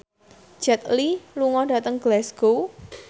Jet Li lunga dhateng Glasgow